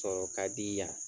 Sɔrɔ ka di yan